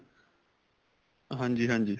ਹਾਂਜੀ ਹਾਂਜੀ